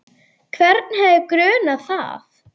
Hvern hefði grunað það?